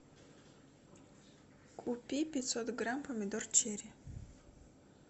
купи пятьсот грамм помидор черри